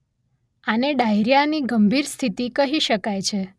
આને ડાયરિયાની ગંભીર સ્થિતિ કહી શકાય છે